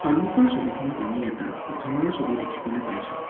সন্মুখৰ ছবিখনত আমি এটা ঘৰৰ ছবি দেখিবলৈ পাইছোঁ।